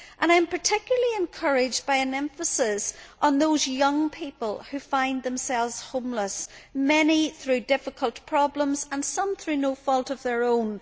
I am particularly encouraged by an emphasis on those young people who find themselves homeless, many through difficult problems and some through no fault of their own.